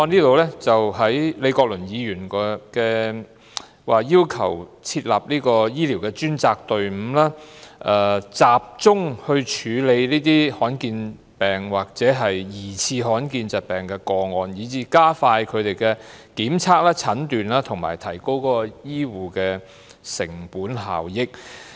李國麟議員的修正案要求設立醫療專責隊伍，集中處理罕見疾病或疑似罕見疾病的個案，加快他們的檢驗、診斷及提高醫護的成本效益。